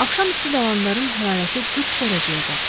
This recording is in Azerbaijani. Axşam üstü Dalandarın hərarəti 40 dərəcəyə qalxdı.